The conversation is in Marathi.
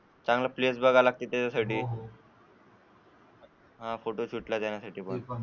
चांगले प्लेस बघावे लागतात त्या साठी हा फोटोशूट ला जाण्यासाठी साठी पण.